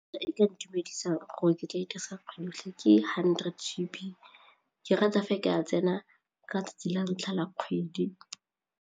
E ka ntumedisang go oketsa e dirisa ke hundred G_B ke rata fa e ka tsena ka 'tsatsi la ntlha la kgwedi.